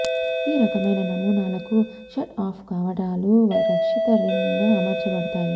ఈ రకమైన నమూనాలకు షట్ ఆఫ్ కవాటాలు రక్షిత రింగ్ న అమర్చబడతాయి